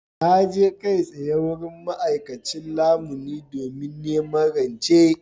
Na je kai tsaye wurin ma’aikacin lamuni domin neman rance.